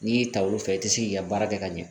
N'i y'i ta olu fɛ i ti se k'i ka baara kɛ ka ɲɛ